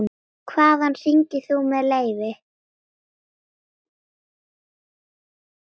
Hvaðan hringir þú með leyfi?